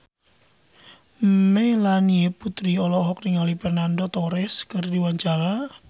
Melanie Putri olohok ningali Fernando Torres keur diwawancara